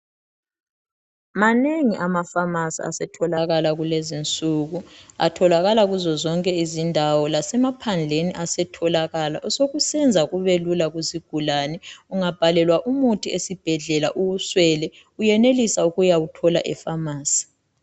Manengi amafamasi asetholaka kulezi insuku atholakala kuzo zonke izindawo lasemaphandleni asetholakala osekusenza kube lula kusigulane ungabhalelwa umuthi ezibhedlela uwuswele uyenelisa ukuyawuthola efamasi.